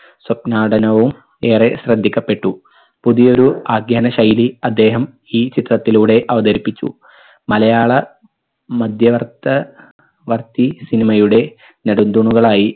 സ്വപ്നാടനവും ഏറെ ശ്രദ്ധിക്കപ്പെട്ടു. പുതിയൊരു ആദ്യാന ശൈലി അദ്ദേഹം ഈ ചിത്രത്തിലൂടെ അവതരിപ്പിച്ചു. മലയാള മദ്യവർത്ത വർത്തി cinema യുടെ നടുന്തൂണുകളായി